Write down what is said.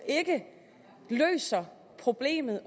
ikke løser problemet